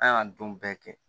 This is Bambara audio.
An y'an don bɛɛ kɛ